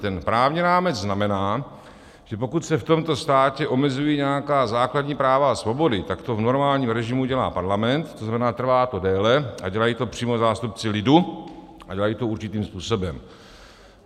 Ten právní rámec znamená, že pokud se v tomto státě omezují nějaká základní práva a svobody, tak to v normálním režimu dělá parlament, to znamená, trvá to déle a dělají to přímo zástupci lidu a dělají to určitým způsobem.